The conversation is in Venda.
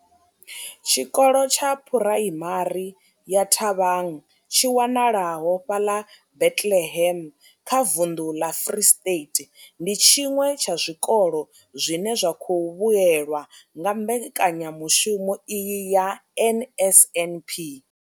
Tshikolo tsha Phuraimari ya Thabang tshi wanalaho fhaḽa Bethlehem kha vunḓu ḽa Free State, ndi tshiṅwe tsha zwikolo zwine zwa khou vhuelwa nga mbekanyamushumo iyi ya NSNP.